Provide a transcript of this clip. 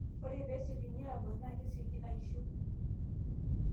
ore pee esiokini abak naa kesioki aishiu